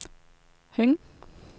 Høng